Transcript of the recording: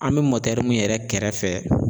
An mɛ min yɛrɛ kɛrɛfɛ